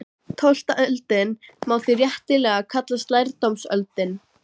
Tólfta öldin má því réttilega kallast lærdómsöld.